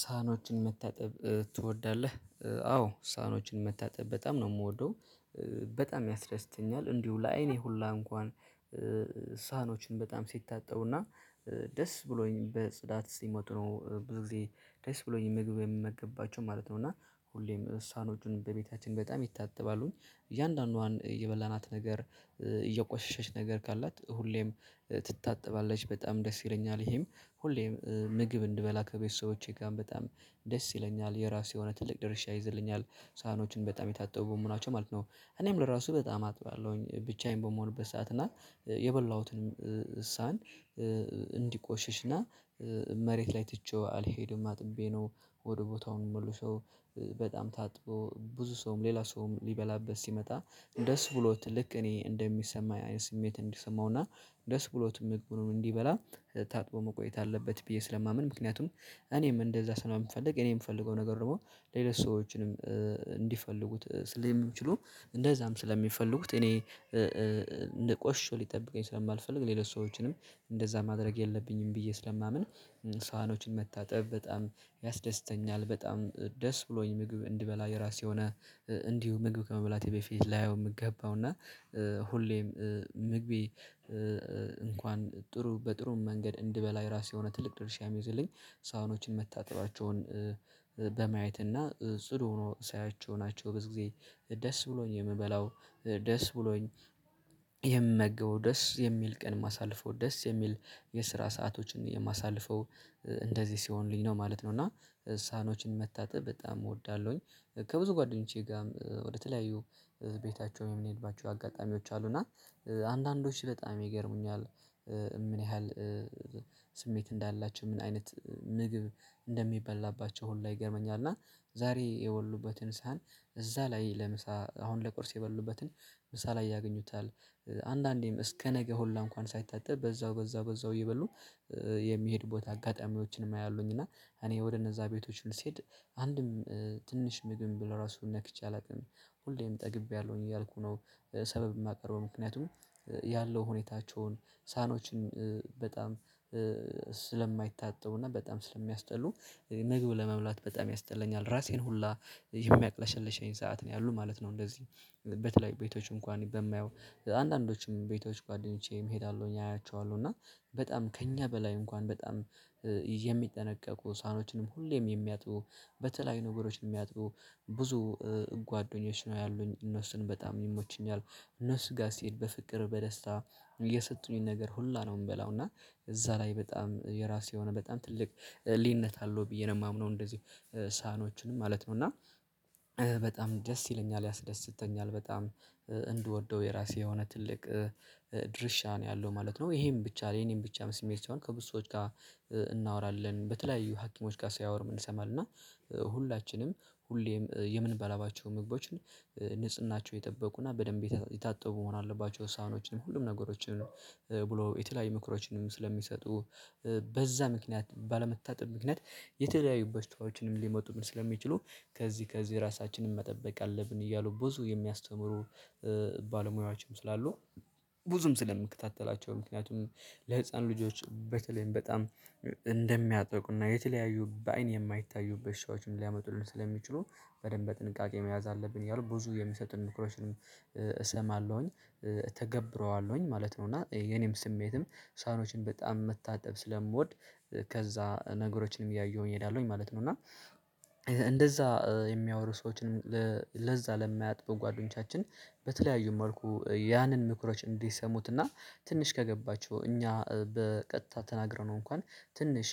ሳኖችን መታጠብ ትወዳለህ? አዎ ሳኖችን መታጠብ በጣም ነው የምወደው። በጣም ያስደስተኛል እንዲሁ ለአይኔ ሁላ እንኳን። ሳህኖችን በጣም ሲታጠቡና ደስ ብሎኝ በጽዳት እስኪሞት ነው። ብዙ ጊዜ ደስ ብሎኝ ምግብ የምመገብባቸው ማለት ነው። እና ሁሌም ሳኖቹን በቤታችን በጣም ይታተባሉኝ እያንዳንዷን የበላናት ነገር እየቆሸሸች ነገር ካላት ሁሌም ትታጠባለች በጣም ደስ ይለኛል። ይሄም ሁሌም ምግብ እንድበላ ከቤተሰቦቼ ጋር በጣም ደስ ይለኛል። የራሱ የሆነ ትልቅ ድርሻ ይዘልኛል ሳህኖችን በጣም የታጠቡ መሆናቸው ማለት ነው። እኔም ለራሱ በጣም አጥባለሁኝ ብቻዬን በመሆንበት ሰዓት እና የበላሁትንም እሳን እንዲቆሽሽና መሬት ላይ ትቼው አልሄደም አጥቤ ነው። ወደ ቦታውን መልሰው በጣም ታጥበው ሰውም ሌላ ሰውም ሊበላበት ሲመጣ ድስ ብሎት ልክ እኔ ያየሁት ስሜት እንዲሰማውና ደስ ብሎት ምግቡን እንዲበላ ታጥቦ መቆየት አለበት። ብዬ ስለማምን ምክንያቱም እኔም እንደዛ ስለማምን የምፈልግ እኔ የምፈልገው ነገር ደግሞ ሌላ ሰዎችንም እንዲፈልጉት ስለሚችሉ እንደዛም ስለሚፈልጉት እኔ ሊቆሽሽ ሊጠብቀኝ ስለማልፈልግ ሌሎች ሰዎችንም እንደዛ ማድረግ የለብኝም ብዬ ስለማምን። ሳህኖችን መታጠብ በጣም ያስደስተኛል በጣም ደስ ብሎኝ ምግብ እንድበላ የራሴ ሆነ። እንዲሁ ምግብ ከመብላቴ በፊት ላየው የምገባው እና ሁሌም ምግቢ ጥሩ በጥሩ መንገድ እንድበላይ ራሴ የሆነ ትልቅ ድርሻ መዘለኝ። ሳህኖችን መታጠባቸውን በማየት እና ጽድ ሆኖ ሳያቸው ናቸው። ብዙ ጊዜ ደስ ብሎኝ የምበላው ደስ ብሎኝ የምመገበው ደስ የሚል ቀን ማሳለፈው ደስ የሚል የስራ ሰአቶችን የማሳልፈው እንደዚህ ሲሆንልኝ ነው ማለት ነው። እና ሳህኖችን መታጠብ በጣም እወዳለሁኝ። ከብዙ ጓደኞቼ ጋር ወደተለያዩ ቤታቸው የምንሄድባቸው አጋጣሚዎች አሉ እና አንዳንዶች ስለጣም ይገርሙኛል። ምን ያህል ስሜት እንዳላቸው ምን አይነት ምግብ እንደሚበላባቸው ሁሉ ይገርመኛል። እና ዛሬ የበሉበትን ሳህን እዛ ላይ ለምሳ አሁን ለቁርስ የበሉበትን ምሳ ላይ ያገኙታል አንዳንዴም ለነገ ሆላ እንኳን ሳይታጠብ በዛው በዛው በዛው ይበሉ። የሚሄድ ቦታ አጋጣሚዎችንም አያሉኝ እና እኔ ወደ እነዛ ቤቶች ልስሄድ አንድም ትንሽ ምግብ ለራሱ ነክቼ አላውቅም። ሁሌም ጠግቤያለሁኝ እያልኩ ነው ሰበብ የማቀረው ምክንያቱም ያለው ሁኔታቸውን ሳኖችን በጣም ስለማይታጠቡና በጣም ስለሚያስጠሉ ምግብ ለመብላት በጣም ያስጠለኛል ራሴን ሁላ የሚያቅለሸልሸኝ ሰዓት ነው ያሉት ማለት ነው። እንደዚህ በተለይ ቤቶች እንኳን በማየው አንዳንዶችም ቤቶች ጓደኞቼ መሄድ አለሁኝ አያቸዋለሁ እና በጣም ከእኛ በላይ እንኳን በጣም የሚጠነቀቁ ሳኖችንም ሁሌም የሚያጥቡ በተለይ ነገሮች የሚያጥቡ ብዙ ጓደኞች ነው ያሉኝ እነሱን በጣም ይመችኛል። እነሱ ጋር ሲሄድ በፍቅር በደስታ እየሰጡኝ ነገር ሁላ ነው የምበላው እና እዛ ላይ በጣም የራሱ የሆነ በጣም ትልቅ ህሊነት አለው ብዬ ነው የማምነው። እንደዚሁ ሳኖችን ማለት ነው እና በጣም ደስ ይለኛል ያስደስተኛል በጣም እንድወደው የራሴ የሆነ ትልቅ ድርሻ ነው ያለው ማለት ነው። ይሄን ብቻ የኔን ብቻ መስሜት ሲሆን ከብዙ ሰዎች ጋር እናወራለን በተለያዩ ሀኪሞች ጋር ሳያወር ምን ይሰማል እና ሁላችንም ሁሌም የምንበላባቸው ምግቦችን ንጽህናቸው የጠበቁና በደንብ የታጠቡ መሆን አለባቸው። ውሳኔዎችን ሁሉም ነገሮችን ብሎ የተለያዩ ምክሮችንም ስለሚሰጡ በዛ ምክንያት ባለመታጠብ ምክንያት የተለያዩ በሽታዎችንም ሊመጡ ምን ስለሚችሉ ከዚህ ከዚህ ራሳችንን መጠበቅ አለብን። እያሉ ብዙ የሚያስተምሩ ባለሙያዎችም ስላሉ ብዙም ስለምከታተላቸው ምክንያቱም ለህፃን ልጆች በተለይም በጣም እንደሚያጠቁና የተለያዩ በአይን የማይታዩ በሻዎችን ሊያመጡልን ስለሚችሉ በደንብ ጥንቃቄ መያዝ አለብን። ያው ብዙ የሚሰጥን ኑክሮሽን እሰማለሁኝ ተገብረዋለሁኝ ማለት ነው። እና የኔም ስሜትም ሳኖችን በጣም መታጠብ ስለምወድ ከዛ ነገሮችንም እያየሁኝ እሄዳለሁኝ ማለት ነው። እና እና እንደዛ የሚያወሩ ሰዎችን ለዛ ለማያጥቡ ጓደኞቻችን በተለያዩ መልኩ ያንን ምክሮች እንዲሰሙት እና ትንሽ ከገባቸው እኛ በቀጥታ ተናግረነው እንኳን ትንሽ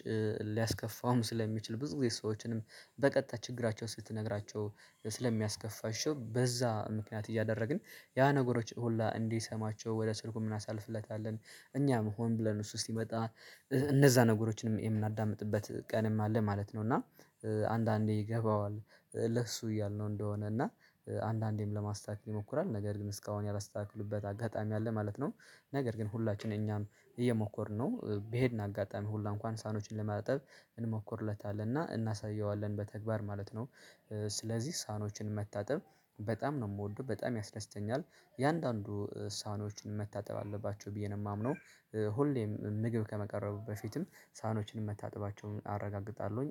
ሊያስከፋውም ስለሚችል ብዙ ጊዜ ሰዎችንም በቀጥታ ችግራቸው ስትነግራቸው ስለሚያስከፋሽው በዛ ምክንያት ይዣ አደረግን። ያ ነገሮች ሁላ እንዲሰማቸው ወደ ስልኩ ምን አሳልፍለታለን እኛም መሆን ብለን እሱ እስኪመጣ እነዛ ነገሮችንም የምናዳምጥበት ቀንም አለ ማለት ነው። እና አንዳንዴ ይገባዋል ለሱ እያልነው እንደሆነ እና አንዳንዴም ለማስታክል ይሞክራል ነገር ግን እስካሁን ያላስተካክሉበት አጋጣሚ አለ ማለት ነው። ነገር ግን ሁላችንም እኛም እየሞከርን ነው ብሄድን አጋጣሚ ሁላ እንኳን ሳኖችን ለማጠብ እንሞክርለታለን እና እናሳየዋለን በተግባር ማለት ነው። ስለዚህ ሳኖችን መታጠብ በጣም ነው የምወደው በጣም ያስደስተኛል። የአንዳንዱ ሳኖችን መታጠብ አለባቸው ብዬ ነው የማምነው ሁሌም ምግብ ከመቀረቡ በፊትም ሳህኖችን መታጠባቸውን አረጋግጣለሁኝ